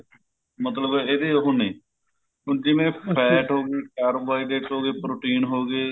ਮਤਲਬ ਇਹਦੇ ਉਹ ਨੇ ਹੁਣ ਜਿਵੇਂ fat ਹੋ ਗਈ carbohydrates ਹੋ ਗਏ protein ਹੋ ਗਏ